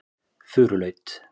Furulaut